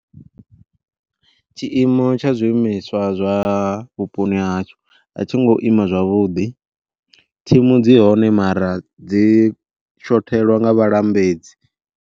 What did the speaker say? Tshiimo tsha zwiimiswa zwavhuponi hashu, a tshi ngo ima zwavhuḓi thimu dzi hone mara dzi shothelwa nga vhalambedzi.